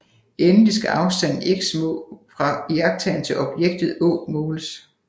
Endelig skal afstanden x fra iagttageren til objektet å måles